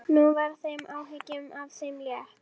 Nú var þeim áhyggjum af þeim létt.